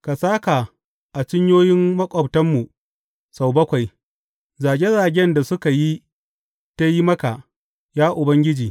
Ka sāka a cinyoyin maƙwabtanmu sau bakwai zage zagen da suka yi ta yi maka, ya Ubangiji.